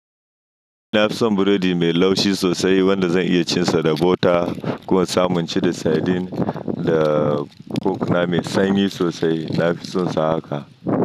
Na fi son burodi mai laushi sosai wanda zan iya cin sa da bota ko samunci da sardine da cock na mai sanyi sosai. Na fi sonsa haka.